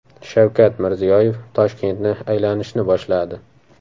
Shavkat Mirziyoyev Toshkentni aylanishni boshladi.